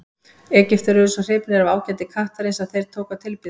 Egyptar urðu svo hrifnir af ágæti kattarins að þeir tóku að tilbiðja hann.